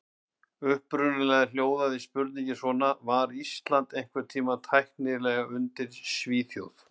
Upprunalega hljóðaði spurningin svona: Var Ísland einhvern tímann tæknilega undir Svíþjóð?